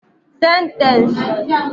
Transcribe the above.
Sentence